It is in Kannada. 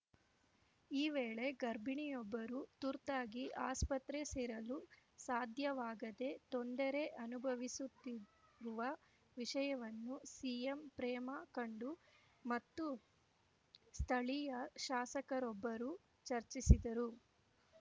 ಈ ವೇಳೆ ಗರ್ಭಿಣಿಯೊಬ್ಬರು ತುರ್ತಾಗಿ ಆಸ್ಪತ್ರೆ ಸೇರಲು ಸಾಧ್ಯವಾಗದೇ ತೊಂದರೆ ಅನುಭವಿಸುತ್ತಿರುವ ವಿಷಯವನ್ನು ಸಿಎಂ ಪ್ರೇಮಾ ಕಂಡು ಮತ್ತು ಸ್ಥಳೀಯ ಶಾಸಕರೊಬ್ಬರು ಚರ್ಚಿಸಿದ್ದರು